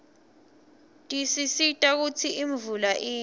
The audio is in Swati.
tisisita kutsi imvula ine